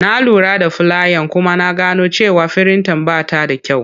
Na lura da fulayan kuma na gano cewa firinta ba ta da kyau.